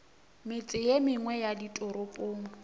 metse ye mengwe ya ditoropong